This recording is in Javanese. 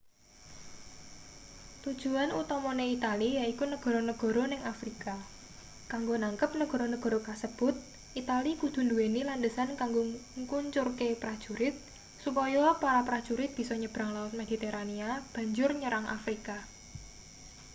tujuan utamane itali yaiku negara-negara ning afrika kanggo nangkep negara-negara kasebut itali kudu nduweni landesan kanggo ngkuncurke prajurit supaya para prajurit bisa nyebrang laut mediterania banjur nyerang afrika